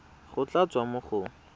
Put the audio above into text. go tla tswa mo go